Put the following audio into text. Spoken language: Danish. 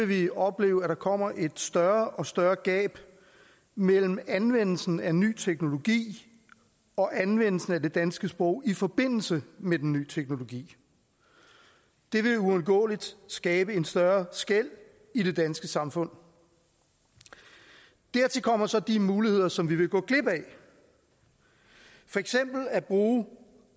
vil vi opleve at der kommer et større og større gab mellem anvendelsen af ny teknologi og anvendelsen af det danske sprog i forbindelse med den nye teknologi det vil uundgåeligt skabe et større skel i det danske samfund dertil kommer så de muligheder som vi vil gå glip af for eksempel at bruge